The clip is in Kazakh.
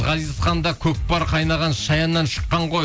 ғазихан да көкпар қайнаған шаяннан шыққан ғой